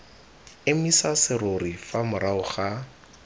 emisa serori fa morago ga